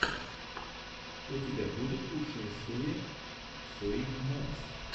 у тебя будет лучшая серия ссри момс